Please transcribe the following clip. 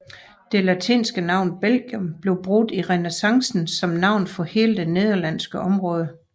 Det latinske navn Belgium blev brugt i renæssancen som navn for hele det nederlandske område